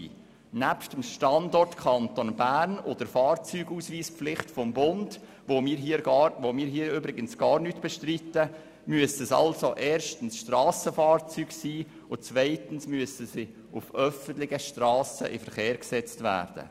Nebst dem Standort Kanton Bern und der Fahrzeugausweispflicht des Bundes, welche wir übrigens nicht bestreiten, muss es sich erstens um Strassenfahrzeuge handeln und zweitens müssen sie auf öffentlichen Strassen in Verkehr gesetzt werden.